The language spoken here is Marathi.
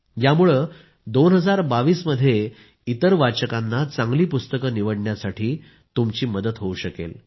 यामुळे 2022मध्ये इतर वाचकांना चांगली पुस्तकं निवडण्यासाठी तुमची मदत होऊ शकेल